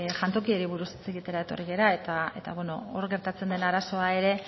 jantokiari buruz hitz egitera etorri gara eta hor gertatzen den arazoa ere